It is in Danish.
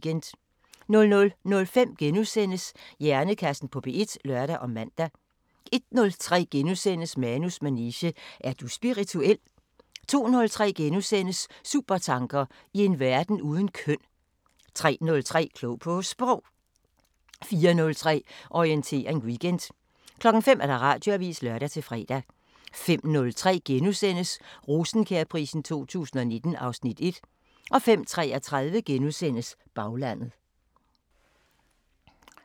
00:05: Hjernekassen på P1 *(lør og man) 01:03: Manus manege: Er du spirituel? * 02:03: Supertanker: I en verden uden køn * 03:03: Klog på Sprog 04:03: Orientering Weekend 05:00: Radioavisen (lør-fre) 05:03: Rosenkjærprisen 2019 (Afs. 1)* 05:33: Baglandet *